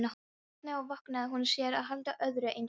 Hvernig vogaði hún sér að halda öðru eins fram?